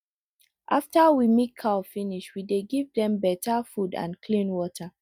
after we milk cow finish we dey give dem better food and clean water